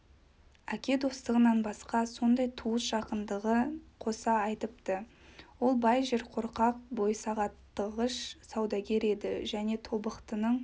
әке достығынан басқа сондай туыс жақындығын қоса айтыпты ол бай жерқорқақ бойсағаттағыш саудагер еді және тобықтының